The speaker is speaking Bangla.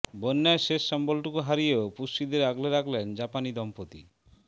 বন্যায় শেষ সম্বলটুকু হারিয়েও পুষ্যিদের আগলে রাখলেন জাপানি দম্পতি